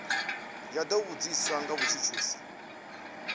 ya do vhudziswa nga mutshutshisi